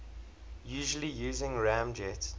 usually using ramjet